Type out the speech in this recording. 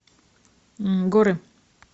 горы